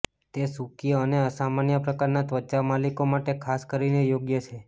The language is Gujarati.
તે સૂકી અને સામાન્ય પ્રકારના ત્વચા માલિકો માટે ખાસ કરીને યોગ્ય છે